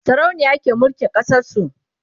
sarauniya ke mulkin ƙasar su